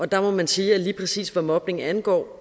der må man sige at lige præcis hvad mobning angår